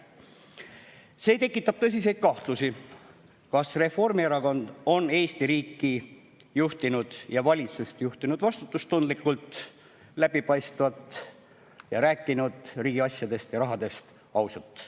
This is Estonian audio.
See tekitab tõsiseid kahtlusi, kas Reformierakond on Eesti riiki ja valitsust juhtinud vastutustundlikult, läbipaistvalt ja rääkinud riigi asjadest ja rahast ausalt.